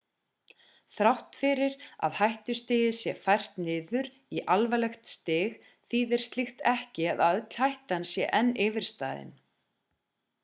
þrátt fyrir að hættustigið sé fært niður í alvarlegt stig þýðir slíkt ekki að öll hættan sé enn yfirstaðin